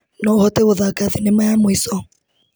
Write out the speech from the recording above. No ũhote gũthaka thinema ya mũico.